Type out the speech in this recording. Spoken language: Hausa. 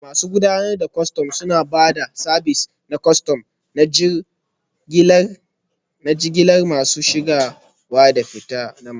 A Najeriya, masu gudanar da kwastam suna ba da sabis na kwastam na jigilar kaya masu shigowa da masu fita, tare da ka'idojin kasuwanci.